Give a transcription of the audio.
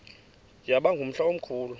yaba ngumhla omkhulu